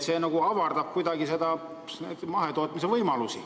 See nagu avardab mahetootmise võimalusi.